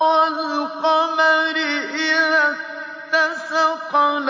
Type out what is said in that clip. وَالْقَمَرِ إِذَا اتَّسَقَ